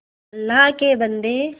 अल्लाह के बन्दे